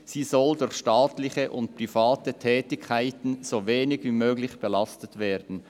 Sie soll durch staatliche und private Tätigkeiten so wenig wie möglich belastet werden.